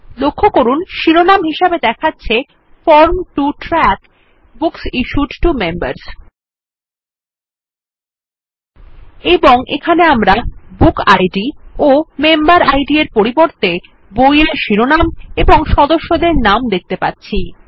লক্ষ্য করুন শিরোনাম হিসাবে দেখাচ্ছে form to track books issued to members এবং এখানে আমরা বুকিড ও মেম্বেরিড এর পরিবর্তে বই এর শিরোনাম ও সদস্যদের নাম দেখতে পাচ্ছি